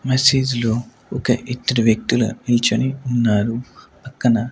మసీదు లో ఒక ఇద్దరు వ్యక్తుల నిల్చొని ఉన్నారు పక్కన--